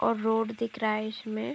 और रोड दिख रहा है। इसमें --